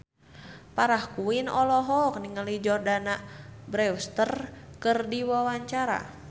Farah Quinn olohok ningali Jordana Brewster keur diwawancara